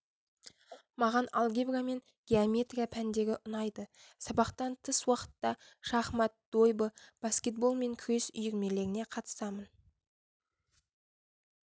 маған алгебра мен геометрия пәндері ұнайды сабақтан тыс уақытта шахмат дойбы баскетбол мен күрес үйірмелеріне қатысамын